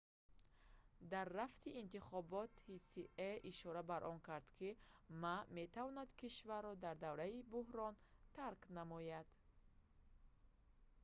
дар рафти интихобот ҳсие ишора ба он кард ки ма метавонад кишварро дар давраи буҳрон тарк намояд